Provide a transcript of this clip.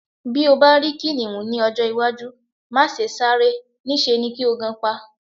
Bí o bá rí kìnìhún ní ọjọ́-iwájú, má se sáré, níṣe ni kí o gan pa.